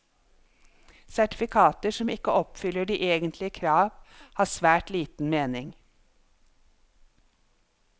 Sertifikater som ikke oppfyller de egentlige krav, har svært liten mening.